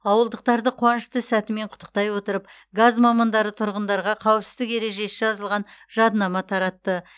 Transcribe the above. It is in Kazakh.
ауылдықтарды қуанышты сәтімен құттықтай отырып газ мамандары тұрғындарға қауіпсіздік ережесі жазылған жадынама таратты